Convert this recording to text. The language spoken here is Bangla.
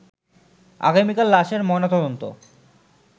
আগামীকাল লাশের ময়না তদন্ত